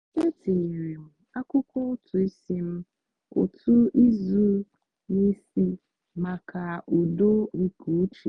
etinyere m akwụkwọ ụtụ isi m otu izu n'isi maka udo nke uche.